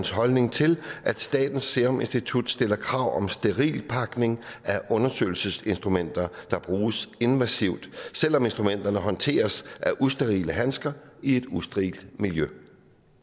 holdning til at statens serum institut stiller krav om sterilpakning af undersøgelsesinstrumenter der bruges invasivt selv om instrumenterne håndteres af usterile handsker i et usterilt miljø